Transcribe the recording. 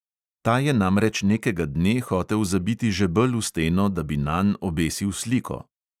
Ta je namreč nekega dne hotel zabiti žebelj v steno, da bi nanj obesil sliko.